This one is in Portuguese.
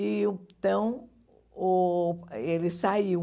E uh então, uh ele saiu.